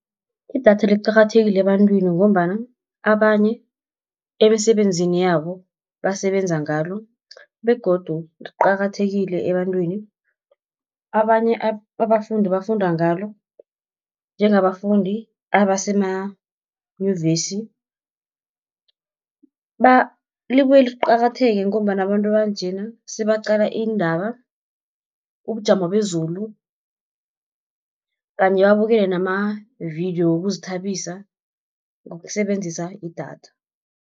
Idatha liqakathekile ebantwini ngombana, abanye emisebenzini yabo basebenza ngalo, begodu liqakathekile ebantwini. Abanye abafundi bafunda ngalo, njengabafundi abasemanyuvesi libuye liqakatheke ngombana abantu banjena sebaqala iindaba, ubujamo bezulu, kanye babukele namavidiyo wokuzithabisa ngokusebenzisa idatha.